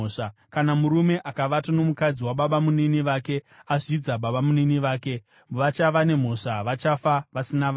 “ ‘Kana murume akavata nomukadzi wababamunini vake azvidza babamunini vake. Vachava nemhosva; vachafa vasina vana.